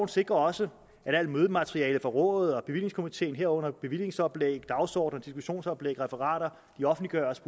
sikrer også at alt mødemateriale fra rådet og bevillingskomiteen herunder bevillingsoplæg dagsordner diskussionsoplæg og referater offentliggøres